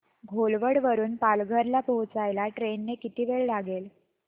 घोलवड वरून पालघर ला पोहचायला ट्रेन ने किती वेळ लागेल